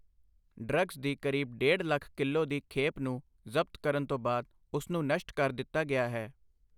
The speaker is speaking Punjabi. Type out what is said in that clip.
ਡ੍ਰੱਗਸ ਦੀ ਕਰੀਬ ਡੇਢ ਲੱਖ ਕਿਲੋ ਦੀ ਖੇਪ ਨੂੰ ਜ਼ਬਤ ਕਰਨ ਤੋਂ ਬਾਅਦ ਉਸ ਨੂੰ ਨਸ਼ਟ ਕਰ ਦਿੱਤਾ ਗਿਆ ਹੈ।